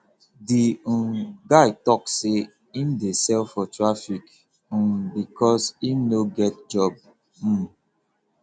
the um guy tok sey im dey sell for traffic um because im no get job um